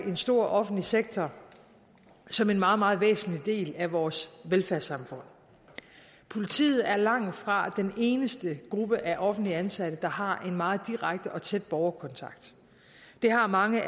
en stor offentlig sektor som en meget meget væsentlig del af vores velfærdssamfund politiet er langt fra den eneste gruppe af offentligt ansatte der har en meget direkte og tæt borgerkontakt det har mange